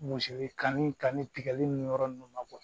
kanni kanni tigɛli ni yɔrɔ ninnu na